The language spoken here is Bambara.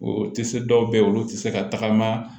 O tɛ se dɔw bɛ ye olu tɛ se ka tagama